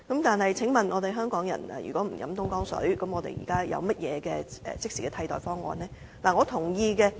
但是，請問香港人如果不喝東江水，又有何即時的替代方案呢？